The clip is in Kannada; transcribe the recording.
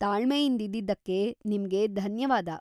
ತಾಳ್ಮೆಯಿಂದಿದ್ದಕ್ಕೆ ನಿಮ್ಗೆ ಧನ್ಯವಾದ.